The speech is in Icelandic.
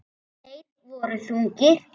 Þeir voru þungir.